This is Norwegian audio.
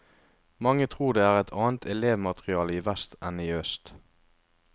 Mange tror det er et annet elevmateriale i vest enn i øst.